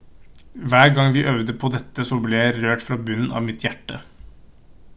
hver gang vi øvde på dette så ble jeg rørt fra bunnen av mitt hjerte